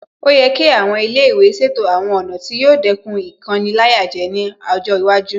Ó yẹ kí àwọn ilé ìwé ṣètò àwọn ọ̀nà tí yóò dẹ́kun Ìkoni-láyàjẹ ní ọjọ́ iwájú